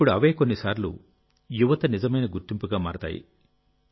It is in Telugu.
ఇప్పుడు అవే కొన్నిసార్లు యువత నిజమైన గుర్తింపుగా మారతాయి